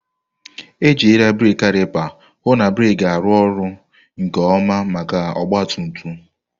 Ejirila brekị kalịpa hụ na breeki ga-arụ ọrụ nke ọma maka ọgba tum tum.